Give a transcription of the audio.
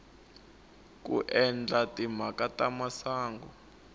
ku endla timhaka ta masangu